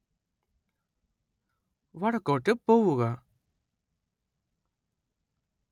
വടക്കോട്ട് പോവുക